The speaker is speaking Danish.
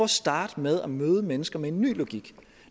starte med at møde mennesker med en ny logik